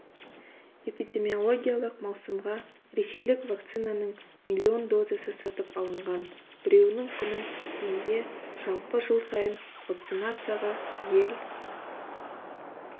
эпидемиологиялық маусымға ресейлік вакцинаның миллион дозасы сатып алынған біреуінің құны теңге жалпы жыл сайын вакцинацияға ел